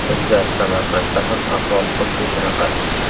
Bizda, Samarqandda ham ahvol xuddi shunaqa.